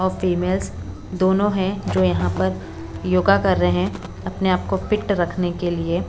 और फीमेल्स दोनों हैं जो यहां पर योगा कर रहे हैं अपने आप को फिट रखने के लिए।